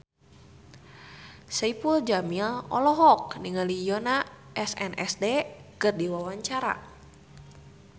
Saipul Jamil olohok ningali Yoona SNSD keur diwawancara